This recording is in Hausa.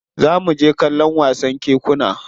Za mu je kallon wasan kekuna.